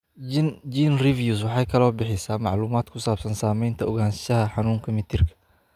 GeneReviews waxa kale oo ay bixisaa macluumaad ku saabsan samaynta ogaanshaha xanuunka mitirka.